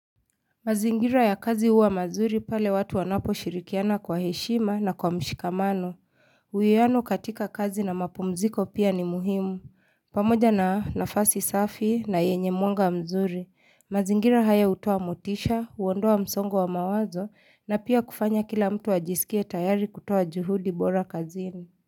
Mazingira ya kazi huwa mazuri pale watu wanaposhirikiana kwa heshima na kwa mshikamano. Uwiano katika kazi na mapumziko pia ni muhimu. Pamoja na nafasi safi na yenye mwanga mzuri. Mazingira haya hutoa motisha, huondoa msongo wa mawazo na pia kufanya kila mtu ajiskie tayari kutoa juhudi bora kazini.